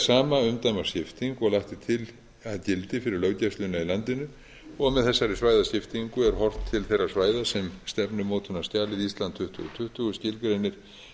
sama umdæmaskipting og lagt er til að gildi fyrir löggæsluna í landinu og með þessari svæðaskiptingu er horft til þeirra svæða sem stefnumótunarskjalið ísland tuttugu tuttugu skilgreinir